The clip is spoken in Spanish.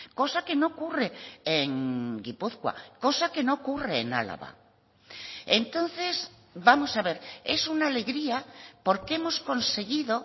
cosa que no ocurre en gipuzkoa cosa que no ocurre en álava entonces vamos a ver es una alegría porque hemos conseguido